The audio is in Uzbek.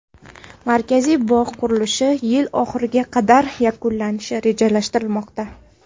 Markaziy bog‘ qurilishi yil oxiriga qadar yakunlanishi rejalashtirilmoqda.